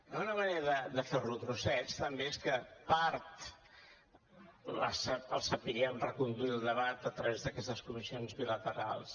i una manera de fer lo a trossets també és que una part el sapiguem reconduir el debat a través d’aquestes comissions bilaterals